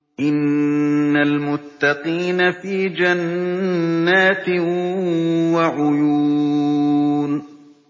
إِنَّ الْمُتَّقِينَ فِي جَنَّاتٍ وَعُيُونٍ